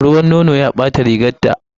Ruwan nono ya ɓata rigarta.